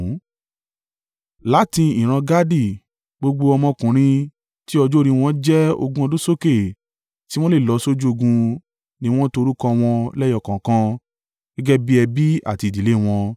Láti ìran Gadi, gbogbo ọmọkùnrin tí ọjọ́ orí wọn jẹ́ ogún ọdún sókè tí wọ́n lè lọ sójú ogun ni wọ́n to orúkọ wọn lẹ́yọ kọ̀ọ̀kan, gẹ́gẹ́ bí ẹbí àti ìdílé wọn.